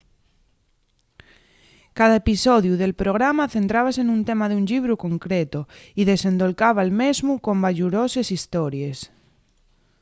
cada episodiu del programa centrábase nun tema d'un llibru concretu y desendolcaba'l mesmu con bayuroses hestories